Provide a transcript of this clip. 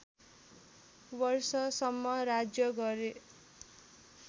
वर्षसम्म राज्य गरे